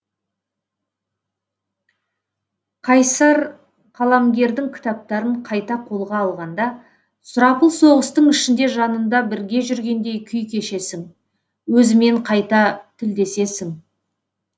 қайсар қаламгердің кітаптарын қайта қолға алғанда сұрапыл соғыстың ішінде жанында бірге жүргендей күй кешесің өзімен қайта тілдесесің